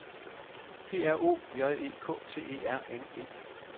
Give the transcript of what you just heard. P R O J E K T E R N E